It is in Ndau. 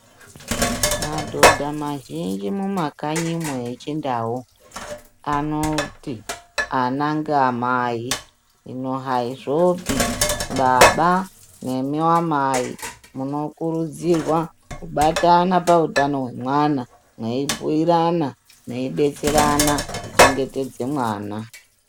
Madhodha mazhinji mumakanyimo echindau anoti ana ngeamai hino haizvopi baba nemi amai munokurudzirwa kubata pautano hwemwana meibhuyirana meibetserana kuchengetedze mwana .